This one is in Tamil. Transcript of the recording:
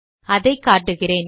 அதை காட்டுகிறேன்